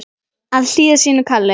Að hlýða sínu kalli